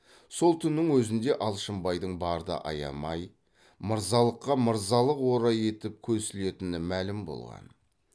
сол түннің өзінде алшынбайдың барды аямай мырзалыққа мырзалық орай етіп көсілетіні мәлім болған